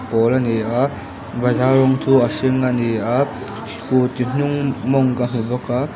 pawl a ni a bazar rawng chu a hring a ni a scooty hnung mawng ka hmu bawk a.